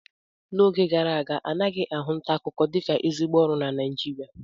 N'oge gara aga anaghị ahụ nta akụkọ dịka ezigbo ọrụ na Naịjirịa